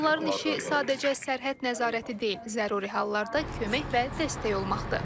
Onların işi sadəcə sərhəd nəzarəti deyil, zəruri hallarda kömək və dəstək olmaqdır.